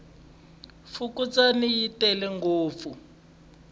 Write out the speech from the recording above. fukundzani yi tele ngopfu